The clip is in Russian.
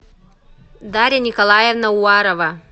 дарья николаевна уварова